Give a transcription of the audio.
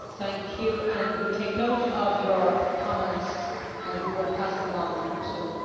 We take note of your comments and we will pass them on to Mr Schulz.